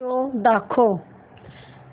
show दाखव